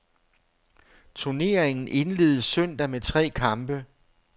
Turneringen indledes søndag med tre kampe.